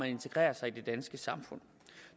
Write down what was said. integrerer sig i det danske samfund